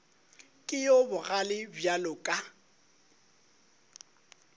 ke yo bogale bjalo ka